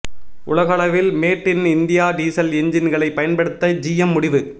உலக அளவில் made in India diesel எஞ்சின்களை பயன்படுத்த ஜிஎம் முடிவு